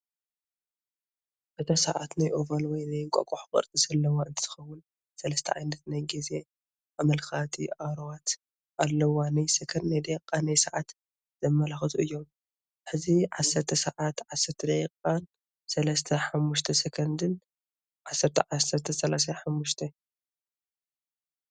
እታ ሰዓት ናይ ኦቫል ወይ ናይ እንቋቆሖ ቅርፂ ዘለዋ እንትትከውን ሰለስተ ዓይነት ናይ ግዜ ኣመላከቲ ኣሮዋት ኣለውዋ ናይ ሰከንድ፣ ናይ ደቂቃ፣ ናይ ሰዓት ዘመላክቱ እዮም፡፡ ሕዚ ዓሰርተ ሰዓትን ዓሰርተ ደቂቓን ሰላሳን ሓሙሽተን ሰኮንድን ( 10፡10፡35